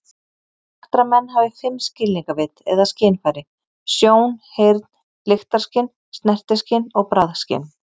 Sagt er að menn hafir fimm skilningarvit eða skynfæri: sjón, heyrn, lyktarskyn, snertiskyn og bragðskyn.